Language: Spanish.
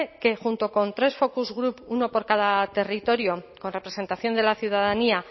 que junto con tres focus group uno por cada territorio con representación de la ciudadanía